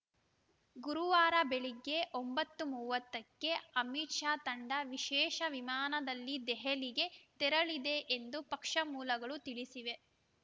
ಗುರುವಾರ ಬೆಳಗ್ಗೆ ಒಂಬತ್ತು ಮೂವತ್ತಕ್ಕೆ ಅಮಿತ್‌ ಶಾ ತಂಡ ವಿಶೇಷ ವಿಮಾನದಲ್ಲಿ ದೆಹಲಿಗೆ ತೆರಳಲಿದೆ ಎಂದು ಪಕ್ಷ ಮೂಲಗಳು ತಿಳಿಸಿವೆ